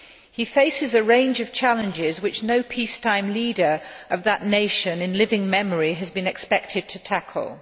He faces a range of challenges which no peacetime leader of that nation in living memory has been expected to tackle.